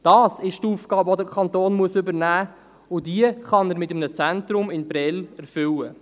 Dies ist die Aufgabe, die der Kanton übernehmen muss, und diese kann er mit einem Zentrum in Prêles erfüllen.